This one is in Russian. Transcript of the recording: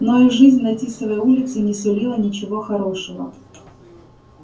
но и жизнь на тисовой улице не сулила ничего хорошего